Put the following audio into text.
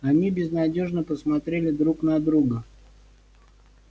они безнадёжно посмотрели друг на друга